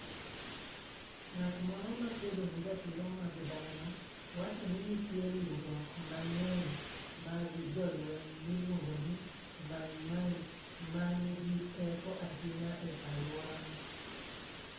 Ng'at moro ma kedo ne ratiro mag dhano wacho ni nitie riwruok mang'eny mag jolweny miluongo ni Mai-Mai, ma nigi teko ahinya e alworano.